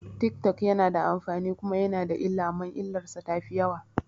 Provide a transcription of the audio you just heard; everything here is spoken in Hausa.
Tik tok yana da amfani kuma yana da illa amma illarsa tafi yawa